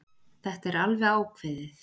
Þetta er alveg ákveðið.